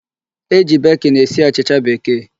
E ji baking esi achịcha bekee